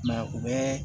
I ma ye u bɛɛ